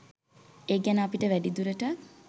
ඒ ගැන අපිට වැඩිදුරටත්